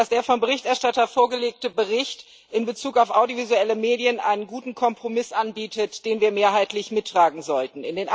Der vom Berichterstatter vorgelegte Bericht in Bezug auf audiovisuelle Medien bietet einen guten Kompromiss an, den wir mehrheitlich mittragen sollten.